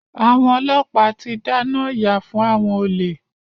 Àwọn ọlọ́pàá ti dáná yá fún àwọn olè.